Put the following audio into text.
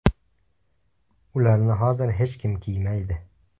Ularni hozir hech kim kiymaydi.